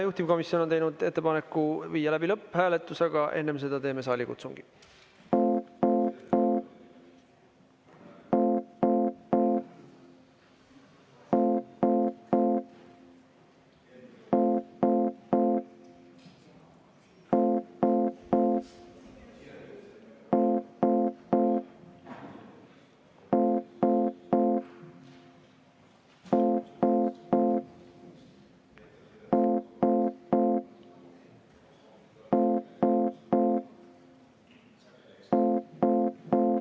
Juhtivkomisjon on teinud ettepaneku viia läbi lõpphääletus, aga enne seda teeme saalikutsungi.